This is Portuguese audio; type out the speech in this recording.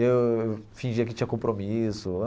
Eu fingia que tinha compromisso.